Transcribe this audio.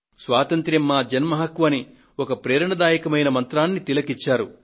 స్వాతంత్య్రం మా జన్మ హక్కు అని ఒక ప్రేరణాత్మకమైన మంత్రాన్ని తిలక్ ఇచ్చారు